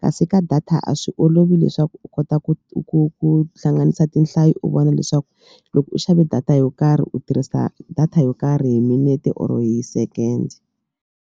kasi ka data a swi olovi leswaku u kota ku ku ku hlanganisa tinhlayo u vona leswaku loko u xave data yo karhi u tirhisa data yo karhi hi minete or hi second.